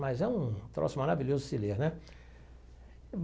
Mas é um troço maravilhoso de se ler, né?